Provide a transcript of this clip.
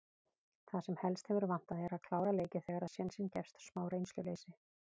Það sem helst hefur vantað er að klára leiki þegar sénsinn gefst. smá reynsluleysi.